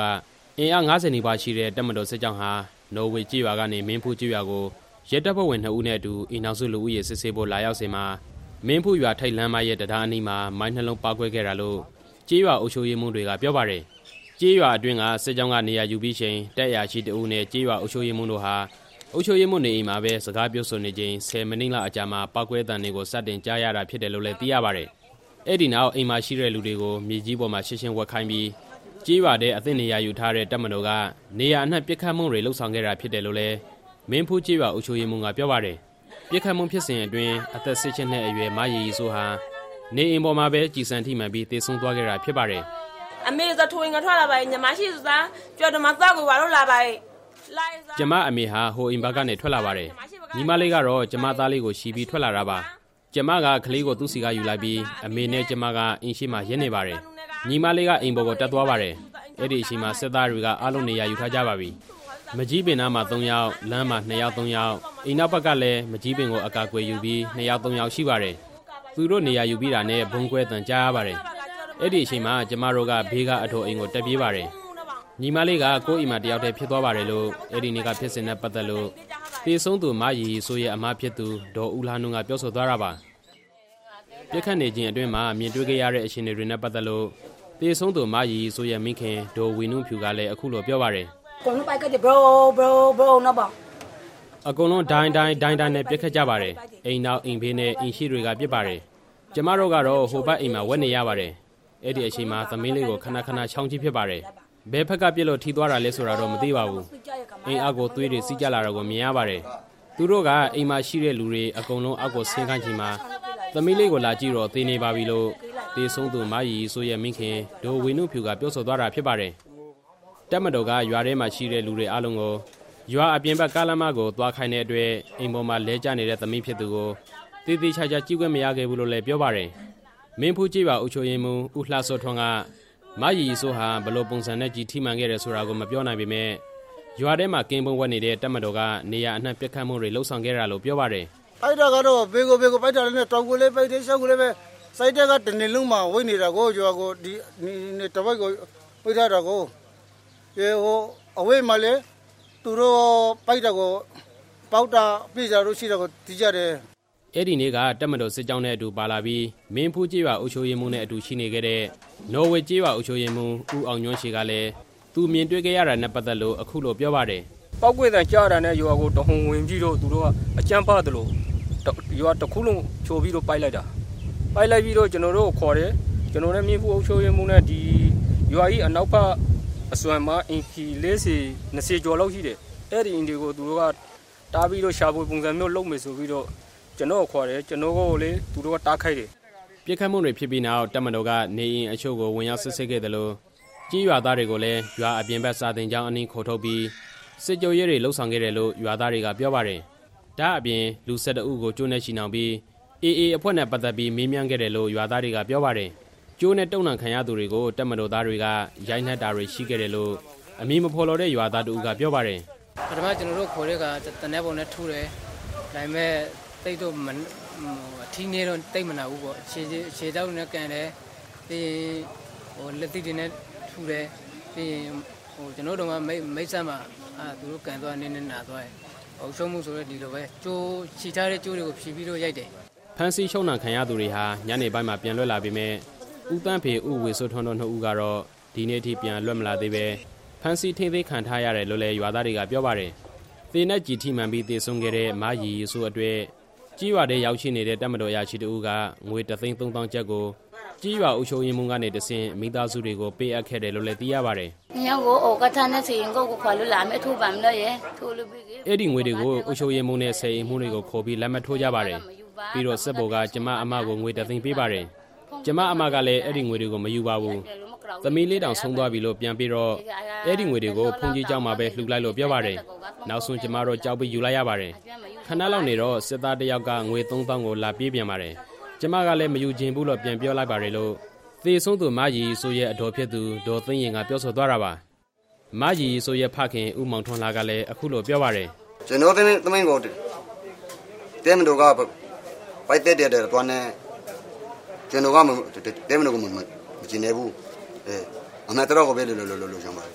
က အင်အား ၅၀ နီးပါးရှိတဲ့ အစိုးရတပ်မတော် စစ်ကြောင်းဟာ နော်ဝေကျေးရွာကနေ မင်းဖူးကျေးရွာကို ရဲတပ်ဖွဲ့ဝင်နှစ်ဦးနဲ့အတူ အိမ်ထောင်စုလူဦးရေ စစ်ဆေးဖို့ လာရောက်စဉ်မှာ မင်းဖူးရွာထိပ်ကားလမ်းမရဲ့ တံတားအနီးမှာ မိုင်း ၂ လုံးပေါက်ကွဲခဲ့တာလို့ ကျေးရွာအုပ်ချုပ်ရေးမှူးတွေက ပြောပါတယ်။ ကျေးရွာအတွင်းက စစ်ကြောင်းကနေရာယူပြီးချိန် တပ်အရာရှိတစ်ဦးနဲ့ ကျေးရွာအုပ်ချုပ်ရေးမှူးတို့ဟာ အုပ်ချုပ်ရေးမှူးနေအိမ်မှာ စကားပြောဆိုနေချိန် ၁၀ မိနစ်လောက်အကြာမှာ ပေါက်ကွဲသံတွေကို စတင်ကြားရတာဖြစ်တယ်လို့လည်း သိရပါတယ်။ အဲဒီနောက် အိမ်မှာရှိတဲ့လူတွေကို မြေကြီးပေါ် ချက်ချင်းဝပ်ခိုင်းပြီး ကျေးရွာထဲအသင့်နေရာယူထားတဲ့ တပ်မတော်က နေရာအနှံ့ပစ်ခတ်ပစ်မှုတွေ လုပ်ဆောင်ခဲ့တာဖြစ်တယ်လို့လည်း မင်းဖူးကျေးရွာ အုပ်ချုပ်ရေးမှူးက ပြောပါတယ်။ ပစ်ခတ်မှုဖြစ်စဉ်အတွင်း အသက် ၁၈ နှစ်အရွယ် မရီရီစိုးဟာ နေအိမ်ပေါ်မှာပဲ ကျည်ဆံထိမှန်ပြီး သေဆုံးသွားခဲ့တာဖြစ်ပါတယ်။ "ကျွန်မအမေဟာ ဟိုဘက်အိမ်ကနေ ထွက်လာပါတယ်။ ညီမလေးကတော့ ကျွန်မသားလေးကိုချီပြီး ထွက်လာတာပါ။ ကျွန်မက ကလေးကိုသူ့ဆီကယူလိုက်ပြီး အမေနဲ့ကျွန်မက အိမ်ရှေ့မှာ ရပ်နေပါတယ်။ ညီမလေးက အိမ်ပေါ်ကိုတက်သွားပါတယ်။ အဲဒီအချိန်မှာ စစ်သားတွေက အားလုံးနေရာယူထားကြပြီ။ မန်ကျည်းပင်နားမှာ သုံးယောက်၊ လမ်းမှာ နှစ်ယောက်သုံးယောက်၊ အိမ်နောက်ဘက်ကလည်း မန်ကျည်းပင်ကို အကာအကွယ်ယူပြီး နှစ်ယောက်သုံးယောက်ရှိပါတယ်။ သူတို့နေရာယူပြီးတာနဲ့ ဗုံးကွဲသံကြားရပါတယ်။ အဲဒီအချိန်မှာ ကျွန်မတို့က ဘေးကအဒေါ်အိမ်ကို တက်ပြေးပါတယ်။ ညီမလေးကို ကိုယ့်အိမ်မှာ တစ်ယောက်တည်းဖြစ်သွားပါတယ်"လို့ အဲဒီနေ့ကဖြစ်စဉ်နဲ့ ပတ်သက်လို့ သေဆုံးသူ မရီရီစိုးရဲ့ အစ်မဖြစ်သူ ဒေါ်ဦးလှနုက ပြောဆိုသွားတာပါ။ ပစ်ခတ်နေချိန်အတွင်းမှာ မြင်တွေ့ရတဲ့အခြေအနေတွေနဲ့ပတ်သက်လို့ သေဆုံးသူ မရီရီစိုးရဲ့မိခင် ဒေါ်ဝေနုဖြူကလည်း အခုလို ပြောပါတယ်။ "အကုန်လုံး ဒိုင်းဒိုင်းဒိုင်းဒိုင်းနဲ့ ပစ်ခတ်ကြပါတယ်။ အိမ်နောက်၊ အိမ်ဘေးနဲ့အိမ်ရှေ့တွေက ပစ်ပါတယ်။ ကျွန်မတို့ကတော့ ဟိုဘက်အိမ်မှာ ဝပ်နေရပါတယ်။ အဲဒီအချိန်မှာ သမီးလေးကို ခဏခဏချောင်းကြည့်ပါတယ်။ ဘယ်ဖက်ကပစ်လို့ ထိသွားတာလဲဆိုတာတော့ မသိပါဘူး၊ အိမ်အောက်ကို သွေးတွေစီးကျလာတာကို မြင်ရပါတယ်။ သူတို့က အိမ်မှာရှိတဲ့လူတွေ အကုန်လုံး အောက်ကိုဆင်းခိုင်းချိန်မှာ သမီးလေးကိုလာကြည့်တော့ သေနေပါပြီ" လို့ သေဆုံးသူ မရီရီစိုးရဲ့ မိခင် ဒေါ်ဝေနုဖြူက ပြောဆိုသွားတာဖြစ်ပါတယ်။ တပ်မတော်က ရွာထဲမှာရှိတဲ့လူတွေအားလုံးကို ရွာအပြင်ဘက် ကားလမ်းမကို သွားခိုင်းတဲ့အတွက် အိမ်ပေါ်မှာလဲကျနေတဲ့ သမီးဖြစ်သူကို သေသေချာချာကြည့်ခွင့် မရခဲ့ဘူးလို့လည်း ပြောပါတယ်။ မင်းဖူးကျေးရွာ အုပ်ချုပ်ရေးမှူး ဦးလှစောထွန်းက မရီရီစိုးဟာ ဘယ်လိုပုံစံနဲ့ ကျည်ထိမှန်ခဲ့တယ်ဆိုတာ မပြောနိုင်ပေမယ့် ရွာထဲမှာ ကင်းပုန်းဝပ်နေတဲ့ တပ်မတော်က နေရာအနှံ့ပစ်ခတ်မှုတွေ လုပ်ဆောင်ခဲ့တာလို့ ပြောပါတယ်။ "ပစ်တာကတော့ဘယ်ကိုလဲဆိုတော့ တောင်ကိုလည်းပစ်တယ်၊ မြောက်ကိုလည်းပစ်တယ်။ စစ်တပ်ကတစ်ရွာလုံးမှာ ဝပ်နေတာကိုး။ ဟိုဘက်မှာလည်း သူတို့ပစ်လို့ ပေါက်ပြဲသွားတာတွေရှိတယ်" အဲဒီနေ့က တပ်မတော်စစ်ကြောင်းနဲ့အတူပါလာပြီး မင်းဖူးကျေးရွာအုပ်ချုပ်ရေးမှူးနဲ့အတူရှိနေခဲ့တဲ့ နော်ဝေကျေးရွာအုပ်ချုပ်ရေးမှူး ဦးအောင်ညွန့်ချေကလည်း သူမြင်တွေ့ခဲ့ရတာနဲ့ပတ်သက်လို့ ပြောပါတယ်။ "ပေါက်ကွဲသံကြားတာနဲ့ ရွာကိုသူတို့တဟုန်ထိုးဝင်ပြီးတော့ အကြမ်းဖက်သလို ရွာတစ်ခုလုံးကို ဖြိုပြီးပစ်လိုက်တာ။ အဲဒီလိုပစ်ပြီးတော့ ကျွန်တော်တို့ကိုခေါ်တယ်။ ကျွန်တော်နဲ့ မင်းဖူးအုပ်ချုပ်ရေးမှူးနဲ့ ဒီရွာရဲ့အနောက်ဘက် အစွန်မှာ အိမ်ခြေ ၂၀ ကျော်လောက်ရှိတယ်။ အဲဒီအိမ်တွေကို သူတို့က တက်ပြီးတော့ ရှာဖွေပုံစံမျိုးလုပ်မယ်ဆိုပြီးတော့ ကျွန်တော့ကို ခေါ်ပါတယ်။ ကျွန်တော့်ကိုလည်း သူတို့က အိမ်ပေါ်တက်ခိုင်းတယ်" ပစ်ခတ်မှု တွေဖြစ်ပြီးနောက် တပ်မတော်က နေအိမ်အချို့ကို ဝင်ရောက်စစ်ဆေးခဲ့သလို ကျေးရွာသားတွေကိုလည်း ရွာအပြင်ဘက် စာသင်ကျောင်းအနီးကို ခေါ်ထုတ်ပြီး စစ်ကြောရေးတွေ လုပ်ဆောင်ခဲ့တယ်လို့ ရွာသားတွေက ပြောပါတယ်။ ဒါ့ပြင်လူ ၁၁ ဦးကို ကြိုးနဲ့ချည်နှောင်ပြီး AA အဖွဲ့နဲ့ ပတ်သက်ပြီး မေးမြန်းခဲ့တယ်လို့ ရွာသားတွေက ပြောပါတယ်။ ကြိုးနဲ့တုပ်နှောင်ခံရသူတွေကို တပ်မတော်သားတွေက ရိုက်နှက်တာတွေရှိခဲ့တယ်လို့ အမည်မဖော်လိုတဲ့ ရွာသားတစ်ဦးက ပြောပါတယ်။ "ပထမ ကျွန်တော်တို့ကိုခေါ်တဲ့အခါ သေနတ်ဒင်နဲ့ထုတယ်။ ဒါပေမဲ့ အထိနည်းတော့ သိပ်မနာဘူးပေါ့။ ခြေထောက်တွေနဲ့လည်း ကန်ပါတယ်။ ပြီးရင် လက်သီးတွေနဲ့ထုတယ်။ ကျွန်တော့ရဲ့မေးစေ့မှာတောင် သူတို့ကန်သွားတာ နည်းနည်းလောက်နာသွားတယ်။ ကျေးရွာအုပ်ချုပ်ရေးမှူးကိုဆိုရင်လည်း ဒီလိုပဲ ချည်ထားတဲ့ကြိုးကိုဖြေပြီးတော့ ရိုက်တယ်" ဖမ်းဆီးချုပ်နှောင်ခံရသူတွေဟာ ညနေပိုင်းမှာ ပြန်လွတ်လာပေမယ့် ဦးသန်းဖေ၊ ဦးဝေစိုးထွန်းတို့ နှစ်ဦးကတော့ ဒီနေ့အထိ ပြန်လွတ်မလာသေးဘဲ ဖမ်းဆီးထိန်းသိမ်းခံထားရတယ်လို့လည်း ရွာသားတွေက ပြောပါတယ်။ သေနတ်ကျည်ထိမှန်ပြီး သေဆုံးခဲ့တဲ့ မရီရီစိုးအတွက် ကျေးရွာထဲရောက်ရှိနေတဲ့ တပ်မတော် အရာရှိတစ်ဦးက ငွေ တစ်သိန်းသုံးသောင်းကျပ်ကို ကျေးရွာအုပ်ချုပ်ရေးမှူးကနေတဆင့် မိသားစုတွေကို ပေးအပ်ခဲ့တယ်လို့ သိရပါတယ်။ "အဲဒီငွေတွေကို အုပ်ချုပ်ရေးမှူးနဲ့ ဆယ်အိမ်မှူးတွေကိုခေါ်ပြီး လက်မှတ်ထိုးကြပါတယ်။ပြီးတော့ စစ်ဗိုလ်က ကျွန်မ အစ်မကို ငွေတစ်သိန်းပေးပါတယ်။ ကျွန်မ အစ်မကလည်း အဲဒီငွေတွေကို မယူပါဘူး၊ သမီးလေးတောင် ဆုံးသွားပြီလို့ ပြန်ပေးတော့ အဲဒီငွေတွေကို ဘုန်းကြီးကျောင်းမှာပဲ လှူလိုက်လို့ ပြောပါတယ်။ နောက်ဆုံး ကျွန်မတို့ ကြောက်ပြီးယူလိုက်ရပါတယ်။ ခဏလောက်နေတော့ စစ်သားတစ်ယောက်က ငွေသုံးသောင်းကို လာပေးပြန်ပါတယ်။ ကျွန်မလည်း မယူချင်ဘူးလို့ ပြန်ပြောလိုက်ပါတယ်" လို့ သေဆုံးသူ မရီရီစိုးရဲ့ အဒေါ်ဖြစ်သူ ဒေါ်သိန်းယဉ်က ပြောဆိုသွားတာပါ။ မရီရီစိုးရဲ့ ဖခင် ဦးမောင်ထွန်းလှကလည်း အခုလို ပြောပါတယ်။ "ကျွန်တော့သမီးကို တပ်မတော်က ပစ်သတ်သွားတာဖြစ်တဲ့အတွက် ကျွန်တော်က တပ်မတော်ကို မကျေနပ်ဘူး။ အမှန်တရားတစ်ခုဖြစ်လာဖို့ကို လိုချင်ပါတယ်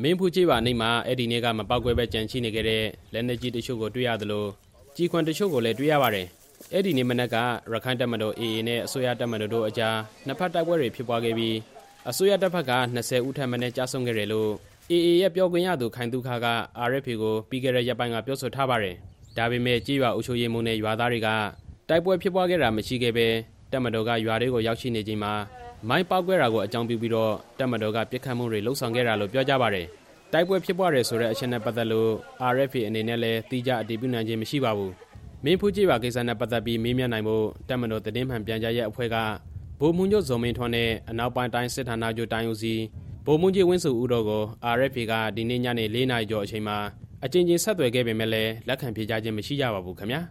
" မင်းဖူးကျေးရွာအနီးမှာ အဲဒီနေ့က မပေါက်ကွဲဘဲကျန်ရှိနေခဲ့တဲ့ လက်နက်ကြီးတချို့ကို တွေ့ရသလို ကျည်ခွံတွေကိုလည်း တွေ့ရပါတယ်။ အဲဒီနေ့မနက်က ရက္ခိုင့်တပ်မတော် AA နဲ့ အစိုးရတပ်မတော်တို့အကြား နှစ်ဘက်တိုက်ပွဲဖြစ်ပွားခဲ့ပြီး အစိုးရတပ်ဘက်က ၂၀ ဦးထက်မနည်း ကျဆုံးခဲ့တယ်လို့ AA ရဲ့ပြောခွင့်ရသူ ခိုင်သုခက RFA ကို ပြီးခဲ့တဲ့ ရက်ပိုင်းက ပြောဆိုထားပါတယ်။ ဒါပေမဲ့ ကျေးရွာအုပ်ချုပ်ရေးမှူးနဲ့ ရွာသားတွေက တိုက်ပွဲဖြစ်ပွားခဲ့တာ မရှိဘဲ တပ်မတော်က ရွာထဲကိုရောက်ရှိနေချိန် မိုင်းပေါက်ကွဲတာကို အကြောင်းပြုပြီး တပ်မတော်က ပစ်ခတ်မှုတွေ လုပ်ဆောင်ခဲ့တာလို့ ပြောကြပါတယ်။ တိုက်ပွဲဖြစ်ပွားတယ်ဆိုတဲ့ အချက်နဲ့ပတ်သက်လို့ RFA အနေနဲ့လည်း သီးခြားအတည်ပြုနိုင်ခြင်း မရှိပါဘူး။ မင်းဖူးကျေးရွာကိစ္စနဲ့ပတ်သက်ပြီး မေးမြန်းနိုင်ဖို့ တပ်မတော် သတင်းမှန်ပြန်ကြားရေးအဖွဲ့က ဗိုလ်မှူးချုပ် ဇော်မင်းထွန်းနဲ့ အနောက်ပိုင်းတိုင်း စစ်ဌာနချုပ် တိုင်းဦးစီး ဗိုလ်မှူးကြီး ဝင်းဇော်ဦးတို့ကို RFA က ဒီနေ့ညနေ ၄ နာရီကျော်အချိန်မှာ အကြိမ်ကြိမ်ဆက်သွယ်ခဲ့ပေမယ့် လက်ခံဖြေကြားခြင်း မရှိကြပါဘူးခင်ဗျာ။